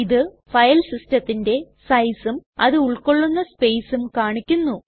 ഇത് ഫയൽ സിസ്ടത്തിന്റെ സൈസും അത് ഉൾകൊള്ളുന്ന സ്പേസും കാണിക്കുന്നു